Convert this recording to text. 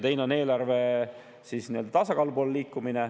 Teine on eelarve tasakaalu poole liikumine.